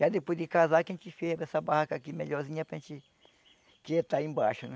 Já depois de casar que a gente fez essa barraca aqui melhorzinha para gente que já está aí embaixo, né?